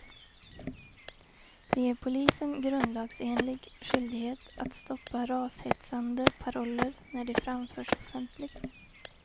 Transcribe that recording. Det ger polisen grundlagsenlig skyldighet att stoppa rashetsande paroller när de framförs offentligt.